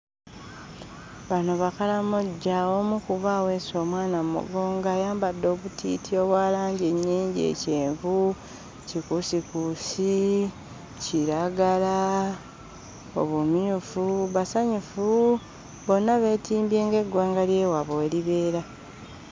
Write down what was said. Bano Bakalamoja. Omu ku bo aweese omwana mu mugongo, ayambadde obutiiti obwa langi nnyingi: kyenvu, kikuusikuusi, kiragala, obumyufu. Basanyufu, bonna beetimbye ng'eggwanga ly'ewaabwe bwe libeera.